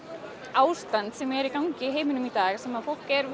ástand sem er í gangi í heiminum í dag sem fólk er